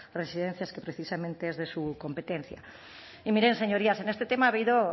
residencias que precisamente es de su competencia y miren señorías en este tema ha habido